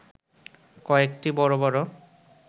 কয়েকটি বড় বড়